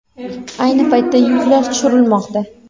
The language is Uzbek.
Ayni paytda yuklar tushirilmoqda.